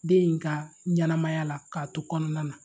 Den in ka ɲɛnamaya la k'a to kɔnɔna na